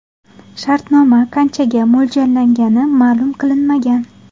Shartnoma qanchaga mo‘ljallangani ma’lum qilinmagan.